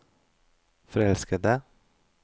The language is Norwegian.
forelskede